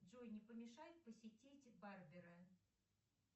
джой не помешает посетить барбера